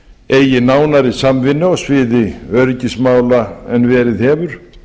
eigi nánari samvinnu á sviði öryggismála en verið hefur